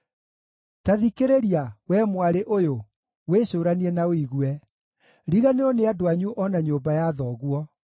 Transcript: Ta thikĩrĩria, wee mwarĩ ũyũ, wĩcũũranie na ũigue: Riganĩrwo nĩ andũ anyu o na nyũmba ya thoguo.